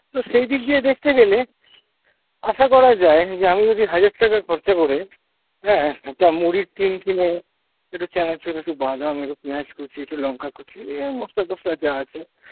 তো সেই দিক দিয়ে দেখতে গেলে আশা করা যায় যে আমি যদি হাজার টাকা খরচা করে হ্যাঁ একটা মুড়ির টিন কিনে একটু চানাচুর, একটু বাদাম ,একটু পেঁয়াজ কুচি, একটু লঙ্কা কুচি এই মসলা টসলা যা আছে